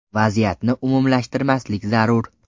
Vaziyatni umumlashtirmaslik zarur.